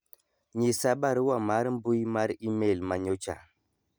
nyisa barua mar mbui mar email manyocha